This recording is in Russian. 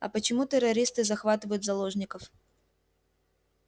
а почему террористы захватывают заложников